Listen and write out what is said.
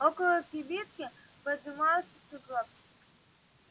около кибитки подымался сугроб